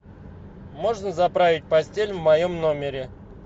можно заправить постель в моем номере